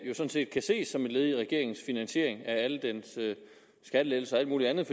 set kan ses som et led i regeringens finansiering af alle dens skattelettelser og alt muligt andet